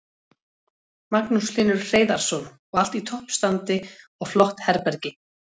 Magnús Hlynur Hreiðarsson: Og allt í toppstandi og flott herbergi?